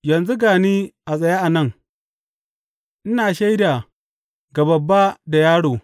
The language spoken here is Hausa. Yanzu ga ni a tsaye a nan, ina shaida ga babba da yaro.